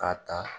K'a ta